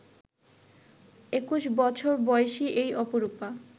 ২১ বছর বয়সী এই অপরূপা